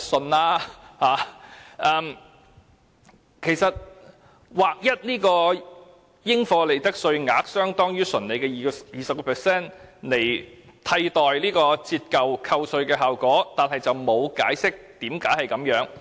政府只提出劃一應課稅款額相當於純利的 20% 以代替折舊免稅額，但卻沒有解釋箇中原因。